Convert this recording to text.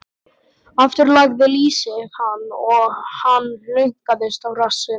Aftur lagði lýsið hann og hann hlunkaðist á rassinn.